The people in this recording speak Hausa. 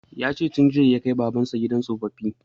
Ya ce jiya ya kai baban sa gidan tsoffi